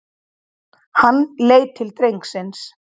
Hann leit til drengsins.